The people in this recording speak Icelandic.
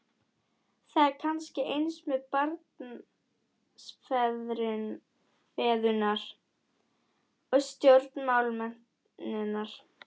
Það er kannski eins með barnsfeðurna og stjórnmálamennina.